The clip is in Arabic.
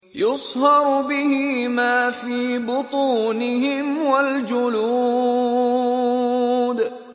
يُصْهَرُ بِهِ مَا فِي بُطُونِهِمْ وَالْجُلُودُ